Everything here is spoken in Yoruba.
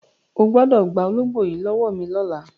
O gbọ́dọ̀ gba ológbò yìí lọ́wọ́ mi lọ́la!